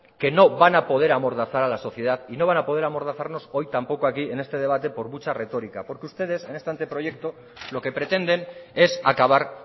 que no van a poder amordazar a la sociedad y no van a poder amordazarnos hoy tampoco aquí en este debate por mucha retórica porque ustedes en este anteproyecto lo que pretenden es acabar